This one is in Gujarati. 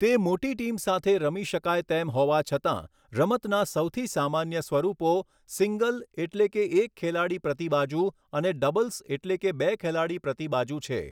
તે મોટી ટીમ સાથે રમી શકાય તેમ હોવા છતાં, રમતના સૌથી સામાન્ય સ્વરૂપો સિંગલ એટલે કે એક ખેલાડી પ્રતિ બાજુ અને ડબલ્સ એટલે કે બે ખેલાડી પ્રતિ બાજુ છે.